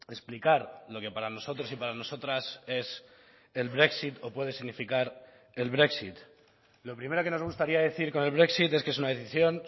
explicar lo que para nosotros y para nosotras es el brexit o puede significar el brexit lo primero que nos gustaría decir con el brexit es que es una decisión